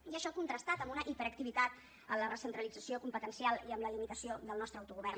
i això contrastat amb una hiperactivitat en la recentralització competencial i amb la limitació del nostre autogovern